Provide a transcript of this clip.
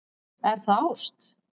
Er það ást?